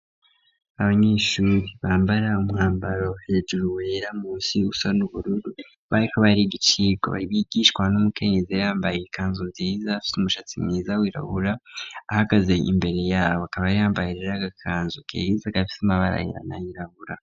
Abanyeshure bambara umwambaro hejuru wera munsi usa n'ubururu bariko bariga icigwa bigishwa n'umukenyezi yambaye ikanzu nziza afise umushatsi mwiza wirabura ahagaze imbere yabo akaba yambaye rero agakanzu keza gafise amabara ayera nayirabura.